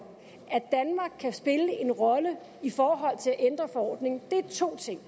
at danmark kan spille en rolle i forhold til at ændre forordningen er to ting